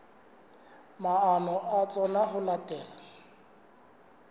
maano a tsona ho latela